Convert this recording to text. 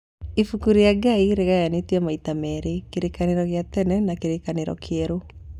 Ibuku rĩa Ngai rĩgayanĩtio maita merĩ, kĩrĩkanĩro kĩa tene na kĩrĩkanĩro kĩerũ.